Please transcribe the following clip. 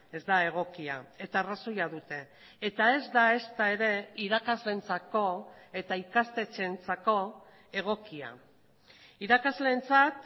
ez da egokia eta arrazoia dute eta ez da ezta ere irakasleentzako eta ikastetxeentzako egokia irakasleentzat